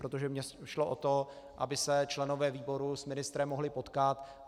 Protože mě šlo o to, aby se členové výboru s ministrem mohli potkat.